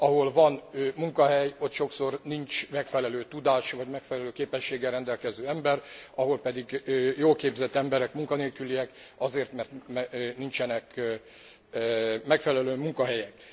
Ahol van munkahely, ott sokszor nincs megfelelő tudással vagy megfelelő képességgel rendelkező ember, máshol pedig jól képzett emberek munkanélküliek azért, mert nincsenek megfelelő munkahelyek.